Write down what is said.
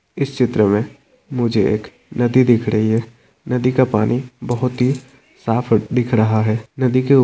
इस चित्र मे मुझे एक नदी दिख रही है नदी का पानी बहुत ही साफ दिख रहा है नदी के ऊ --